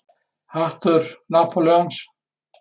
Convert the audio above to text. Hattur Napóleons?